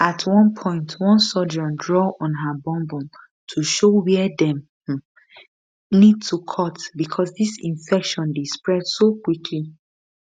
at one point one surgeon draw on her bum bum to show wia dem um need to cut becos di infection dey spread so quickly